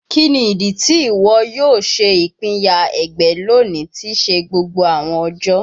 Kini idi ti iwọ yoo ṣe ipinya ẹgbẹ loni ti se gbogbo awọn ọjọ?